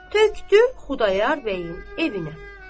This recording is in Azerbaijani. Tökdü Xudayar bəyin evinə.